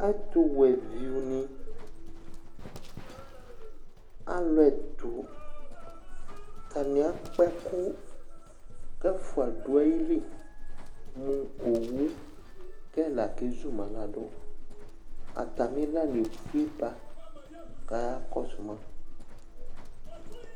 Ɛtuwɛviʋni: alu ɛtu Ataŋi akpa ɛku kʋ ɛfʋa ɖu aɣili mʋ owu kʋ ɛla kezulaɖu Atamilani efʋeba kʋ ayakɔsuma